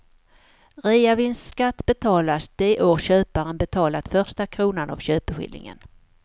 Reavinstskatt betalas det år köparen betalat första kronan av köpeskillingen.